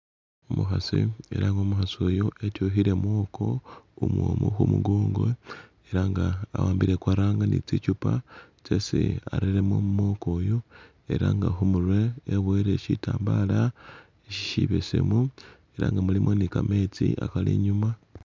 Umukhasi eranga umukhasi uyu etukhile mwoko umwomu khumu gongo eranga awambile kwaranga nitsichupa tsesi areremo mwoko uyu eranga khumurwe ebuyele shitambala shibesemu eranga mulimu nika metsi akali inyuma